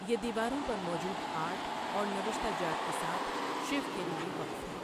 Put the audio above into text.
یہ دیواروں پر موجود آرٹ اور نوشتہ جات کے ساتھ، شیو کے لئے وقف ہے۔